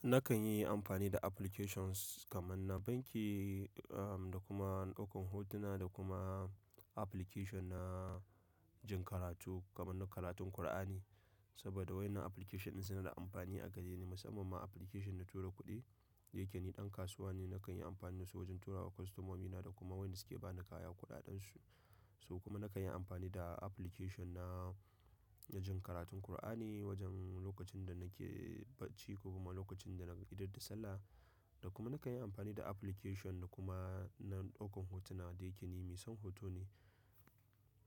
Nakan yi amfani da applications kamar na banki, um, da kuma na ɗaukan hotuna da kuma application na jin karatu kamar na karatun Kur'ani. Saboda wa ƴannan application ɗin suna da amfani a gare ni musamman ma application na tura kuɗi dayake ni ɗan kasuwa ne. Nakan yi amfani da su wajen turawa kwastomomina da kuma waɗanda suke bani kaya kuɗaɗen su. Kuma nakan yi amfani da application na, na jin karatun Kur'ani wajen lokacin da nake bacci ko kuma lokacin da na da idar da Sallah. Da kuma nakan yi amfani da application da kuma na ɗaukan hotuna da yake ni mai son hoto ne.